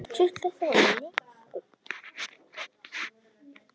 Hver árstíð hefur sinn sjarma.